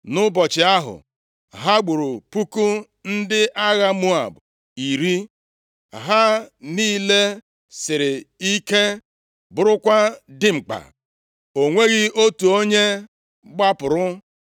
Nʼụbọchị ahụ, ha gburu puku ndị agha Moab iri, ha niile siri ike bụrụkwa dimkpa. O nweghị otu onye gbapụrụ.